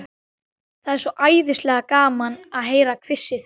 Það er svo æðislega gaman að heyra hvissið.